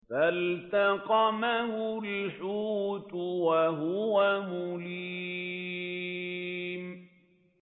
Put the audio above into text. فَالْتَقَمَهُ الْحُوتُ وَهُوَ مُلِيمٌ